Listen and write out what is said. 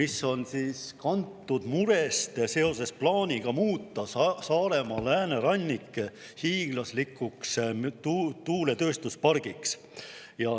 See on kantud murest seoses plaaniga muuta Saaremaa läänerannik hiiglaslikuks tuuletööstuspargiks.